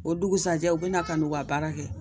O dugusajɛ u bina ka n'u ka baara kɛ